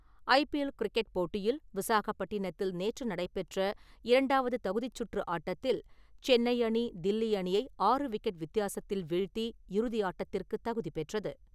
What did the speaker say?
IPL cricket போட்டியில் விசாகப்பட்டினத்தில் நேற்று நடைபெற்ற இரண்டாவது தகுதிச்சுற்று ஆட்டத்தில் சென்னை அணி, தில்லி அணியை ஆறு விக்கெட் வித்தியாசத்தில் வீழ்த்தி இறுதியாட்டத்திற்குத் தகுதி பெற்றது.